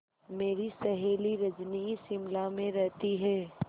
मेरी सहेली रजनी शिमला में रहती है